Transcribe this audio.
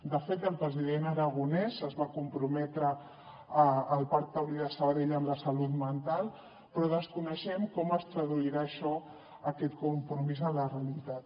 de fet el president aragonès es va comprometre al parc taulí de sabadell amb la salut mental però desconeixem com es traduirà això aquest compromís a la realitat